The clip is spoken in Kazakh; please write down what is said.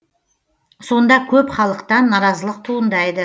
сонда көп халықтан наразылық туындайды